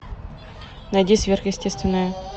найди сверхъестественное